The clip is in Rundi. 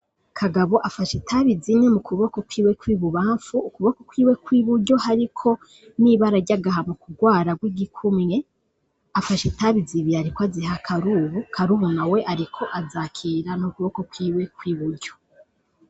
Kagabo afasha itabi zine mu kuboko kwiwe kw'i bubamfu ukuboko kwiwe kw'i buryo hariko niba araryagaha mu kurwara rw'igikumye afasha itabizibie, ariko aziha karubu karubu na we, ariko azakira no kuboko kwiwe kw'i buryo.